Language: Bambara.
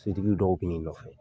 Sotigi dɔw bɛ nɔfɛ.